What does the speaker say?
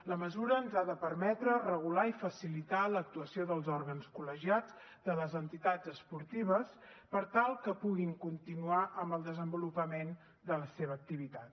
la mesura ens ha de permetre regular i facilitar l’actuació dels òrgans col·legiats de les entitats esportives per tal que puguin continuar amb el desenvolupament de la seva activitat